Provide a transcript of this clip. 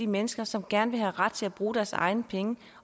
mennesker som gerne vil have ret til at bruge deres egne penge